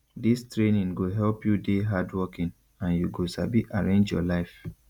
dis training go help you dey hardworking and you go sabi arrange your life